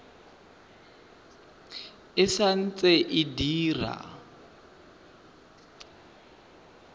e sa ntse e dira